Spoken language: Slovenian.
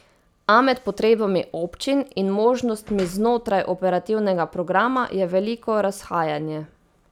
A med potrebami občin in možnostmi znotraj operativnega programa je veliko razhajanje.